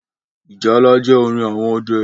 Ìjálá jẹ́ orin àwọn ọdẹ